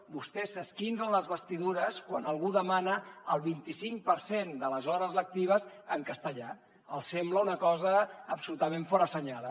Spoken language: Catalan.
vostès s’esquincen les vestidures quan algú demana el vint i cinc per cent de les hores lectives en castellà els sembla una cosa absolutament forassenyada